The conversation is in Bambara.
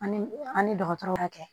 An ni an ni dɔgɔtɔrɔw ka kɛ